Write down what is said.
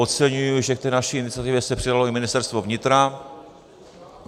Oceňuji, že k té naší iniciativě se přidalo i Ministerstvo vnitra.